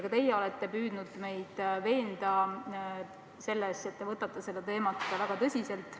Ka teie olete püüdnud meid veenda selles, et suhtute sellesse teemasse väga tõsiselt.